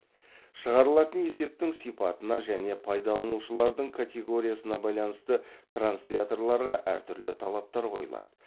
шығарылатын есептің сипатына және пайдаланушылардың категориясына байланысты трансляторларға әртүрлі талаптар қойылады